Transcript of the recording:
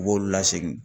U b'olu lasegin